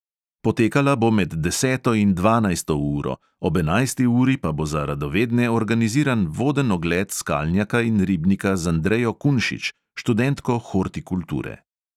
Potekala bo med deseto in dvanajsto uro, ob enajsti uri pa bo za radovedne organiziran voden ogled skalnjaka in ribnika z andrejo kunšič, študentko hortikulture.